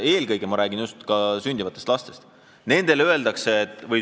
Eelkõige ma räägin alles sündivatest lastest ja juba sündinud lastest.